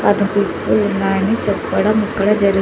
కనిపిస్తూ ఉన్నాయని చెప్పడం ఇక్కడ జరిగి--